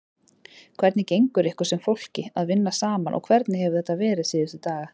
Hvernig gengur ykkur sem fólki að vinna saman og hvernig hefur þetta verið síðustu daga?